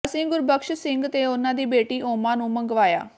ਅਸੀਂ ਗੁਰਬਖ਼ਸ਼ ਸਿੰਘ ਤੇ ਉਨ੍ਹਾਂ ਦੀ ਬੇਟੀ ਓਮਾ ਨੂੰ ਮੰਗਵਾਇਆ